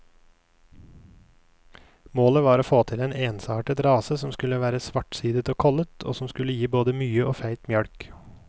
Målet var å få til en ensartet rase som skulle være svartsidet og kollet, og som skulle gi både mye og feit mjølk.